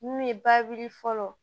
Mun ye bawuli fɔlɔ